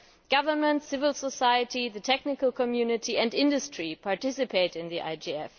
Governments, civil society, the technical community and industry participate in the IGF.